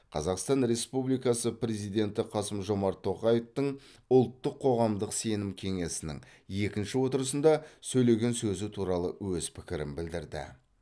қазақстан республикасы президенті қасым жомарт тоқаевтың ұлттық қоғамдық сенім кеңесінің екінші отырысында сөйлеген сөзі туралы өз пікірін білдірді